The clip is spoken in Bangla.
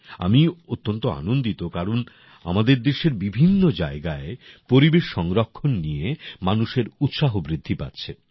আমি অত্যন্ত আনন্দিত কারণ আমাদের দেশের বিভিন্ন জায়গায় পরিবেশ সংরক্ষণ নিয়ে মানুষের উৎসাহ বৃদ্ধি পাচ্ছে